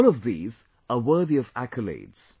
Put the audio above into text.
All of these are worthy of accolades